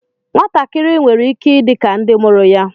Nwatakịrị nwere ike ịdị ka ndị mụrụ ya